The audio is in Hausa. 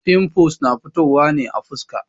Fimfuls na fitowa ne a fuska.